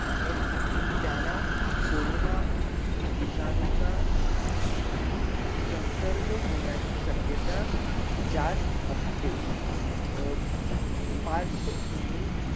आहेत त्यांना कोरोना विषाणूचा संसर्ग होण्याची शकीत्या जास्त असते अ परशा भूमी